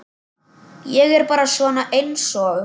Ég er bara svona einsog.